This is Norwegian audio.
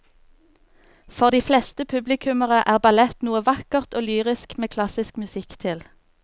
For de fleste publikummere er ballett noe vakkert og lyrisk med klassisk musikk til.